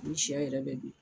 Ni shɛ yɛrɛ bɛ don